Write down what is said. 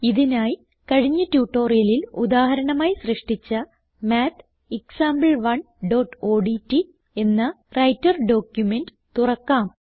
ഇതിനായി കഴിഞ്ഞ ട്യൂട്ടോറിയലിൽ ഉദാഹരണമായി സൃഷ്ടിച്ച mathexample1ഓഡ്റ്റ് എന്ന വ്രൈട്ടർ ഡോക്യുമെന്റ് തുറക്കാം